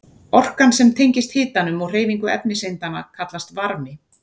Orkan sem tengist hitanum og hreyfingu efniseindanna kallast varmi.